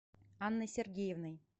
анной сергеевной